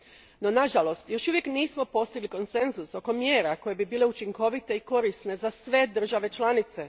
No, nažalost još uvijek nismo postigli konsenzus oko mjera koje bi bile učinkovite i korisne za sve države članice.